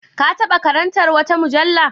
Ka taɓa karantar wata mujalla?